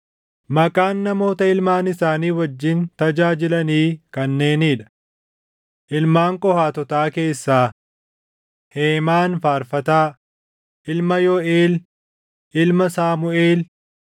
Maqaan namoota ilmaan isaanii wajjin tajaajilanii kanneenii dha: Ilmaan Qohaatotaa keessaa: Heemaan Faarfataa, ilma Yooʼeel, ilma Saamuʼeel,